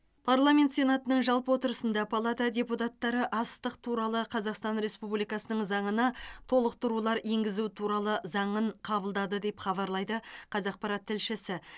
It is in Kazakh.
парламент сенатының жалпы отырысында палата депутаттары астық туралы қазақстан республикасының заңына толықтырулар енгізу туралы заңын қабылдады деп хабарлайды қазақпарат тілшісі